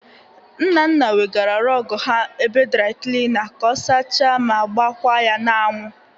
Nnanna wegara rọgụ ha ebe draị klịna ka ọ sacha ma gbakwa ya n'anwụ.